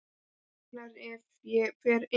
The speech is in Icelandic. Hún vaknar ef ég fer inn.